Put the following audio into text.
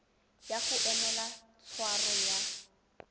ya go emela tshwaro ya